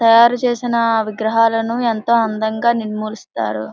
తయారు చేసిన విగ్రహలను ఎంతో అందంగా నిర్ములిస్తారు.